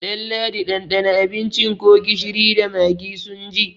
Ɗalladi ɗanɗana abincin ko gishiri da magi sun ji!